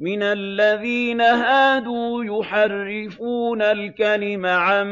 مِّنَ الَّذِينَ هَادُوا يُحَرِّفُونَ الْكَلِمَ عَن